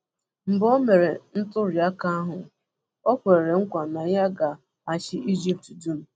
Mgbe o mere ntuli aka ahụ, o kwere nkwa na ya ga-achị Ijipt dum.